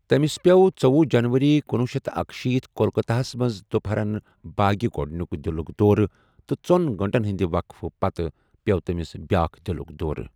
تمِس پییو٘ ژٔوۄہُ جنوری کنۄہ شیتھ تہٕ اکشیٖتھ کولکتہ ہس منز دوپہرن بٲگہِ گو٘ڈنِیوُك دِلُك دورٕ تہٕ ژون گھنٹن ہندِ وقفہٕ پتہٕ پییو٘ تمِس بیاكھ دِلُك دورٕ ۔